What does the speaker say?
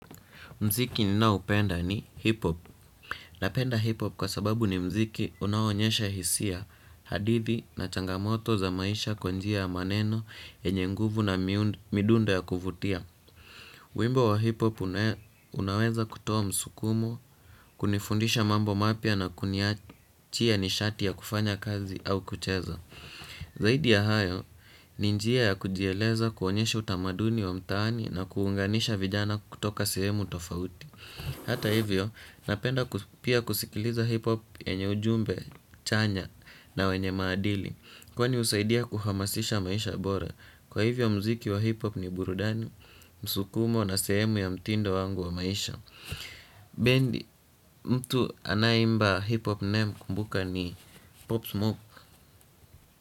Muziki ninao upenda ni hip-hop. Napenda hip-hop kwa sababu ni muziki unao onyesha hisia, hadithi na changamoto za maisha kwa njia ya maneno yenye nguvu na midundo ya kuvutia. Wimbo wa hip-hop unaweza kutoa msukumo, kunifundisha mambo mapya na kuniachia nishati ya kufanya kazi au kucheza. Zaidi ya hayo, ni njia ya kujieleza kuonyesha utamaduni wa mtaani na kuunganisha vijana kutoka sehemu tofauti. Hata hivyo, napenda pia kusikiliza hip hop yenye ujumbe chanya na wenye maadili. Kwani husaidia kuhamasisha maisha bora. Kwa hivyo muziki wa hip hop ni burudani, msukumo na sehemu ya mtindo wangu wa maisha. Bendi, mtu anayeimba hip hop ninaye mkumbuka ni Pop Smoke.